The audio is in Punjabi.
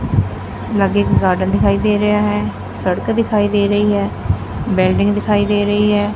ਲਾਗੇ ਇੱਕ ਗਾਰਡਨ ਦਿਖਾਈ ਦੇ ਰਿਹਾ ਹੈ ਸੜਕ ਦਿਖਾਈ ਦੇ ਰਹੀ ਹੈ ਬਿਲਡਿੰਗ ਦਿਖਾਈ ਦੇ ਰਹੀ ਐ।